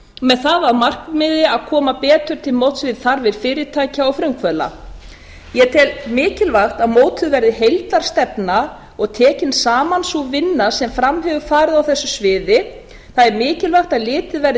með það að markmiði að koma betur til móts við þarfir fyrirtækja og frumkvöðla ég tel mikilvægt að mótuð verði heildarstefna og tekin saman sú vinna sem fram hefur farið á þessu sviði það er mikilvægt að litið verði